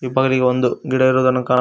ಇಬ್ಬಾಗಿಲಿಗೆ ಒಂದು ಗಿಡ ಇರುವುದನ್ನು ಕಾಣ--